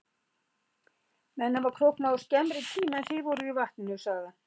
Menn hafa króknað á skemmri tíma en þið voruð í vatninu, sagði hann.